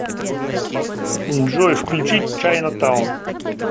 джой включить чайна таун